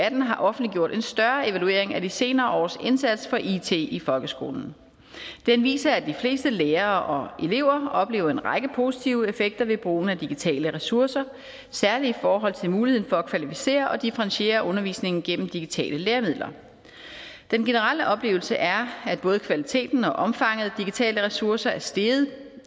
atten har offentliggjort en større evaluering af de senere års indsats for it i folkeskolen den viser at de fleste lærere og elever oplever en række positive effekter ved brugen af digitale ressourcer særlig i forhold til muligheden for at kvalificere og differentiere undervisningen gennem digitale læremidler den generelle oplevelse er at både kvaliteten og omfanget af digitale ressourcer er steget